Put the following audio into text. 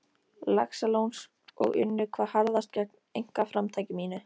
Laxalóns og unnu hvað harðast gegn einkaframtaki mínu.